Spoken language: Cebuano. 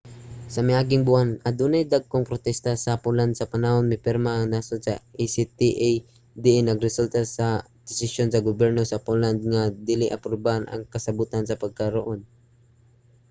sa miaging buwan adunay mga dagkong protesta sa poland sa panahon nga mipirma ang nasod sa acta diin nagresulta sa desisyon sa gobyerno sa poland nga dili aprubahan ang kasabutan sa pagkakaron